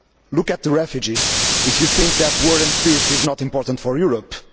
Look at the refugees if you think that war and peace is not important for Europe'.